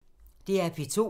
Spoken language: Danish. DR P2